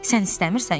Sən istəmirsən?